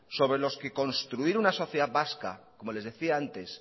sobre los que construir una sociedad vasca como les decía antes